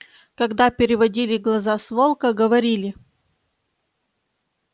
когда переводили глаза с волка говорили